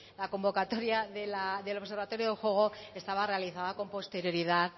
la convocatoria del observatorio del juego estaba realizada con anterioridad